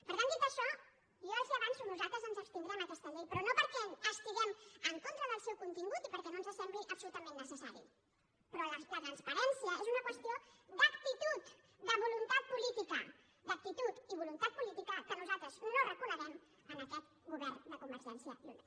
per tant dit això jo els ho avanço nosaltres ens abstindrem en aquesta llei però no perquè estiguem en contra del seu contingut i perquè no ens sembli absolutament necessari però la transparència és una qüestió d’actitud de voluntat política d’actitud i voluntat política que nosaltres no reconeixem en aquest govern de convergència i unió